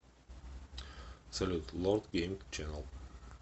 салют лорд гейм ченел